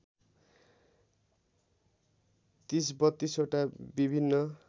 ३० ३२ वटा विभिन्न